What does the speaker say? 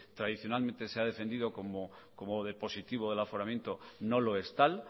tradicionalmente se ha defendido como de positivo del aforamiento no lo es tal